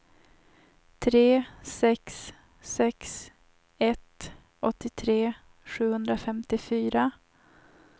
tre sex sex ett åttiotre sjuhundrafemtiofyra